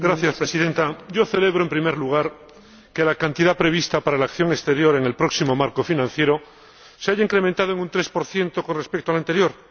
Señora Presidenta, yo celebro, en primer lugar, que la cantidad prevista para la acción exterior en el próximo marco financiero se haya incrementado en un tres por ciento con respecto al anterior.